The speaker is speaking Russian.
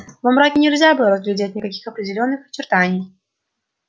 во мраке нельзя было разглядеть никаких определённых очертаний